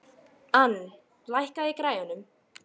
Ann, lækkaðu í græjunum.